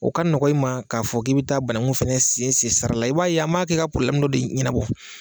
O ka nɔgɔn i ma k'a fɔ k'i bɛ taa banakun fɛnɛ sen sen sira la,i b'a ye an m'a kɛ ka do de ɲɛnabɔ.